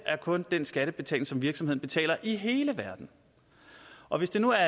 er kun den skattebetaling som virksomheden betaler i hele verden og hvis det nu er